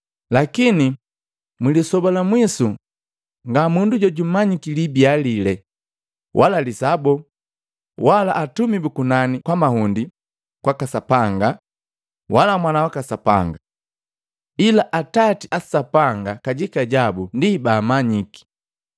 “Lakini mwilisoba la mwisu, nga mundu jojumanyiki libia lile, wala lisaa boo, wala atumi bu kunani kwa mahundi kwaka Sapanga, wala Mwana waka Sapanga. Ila Atati a Sapanga kajika jabu ndi baamanyiki.